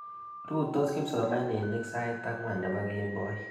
Rutos kipsomaninik sait ang'wan nepo kemboi.